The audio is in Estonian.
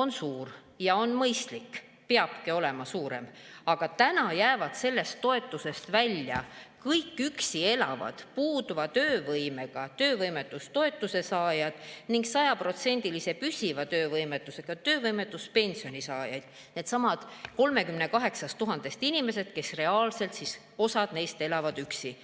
on suur ja on mõistlik, peabki olema suurem, aga täna jäävad sellest toetusest välja kõik üksi elavad puuduva töövõimega töövõimetustoetuse saajad ning sajaprotsendilise püsiva töövõimetusega töövõimetuspensioni saajad – needsamad 38 000 inimest, kellest reaalselt osa elab üksi.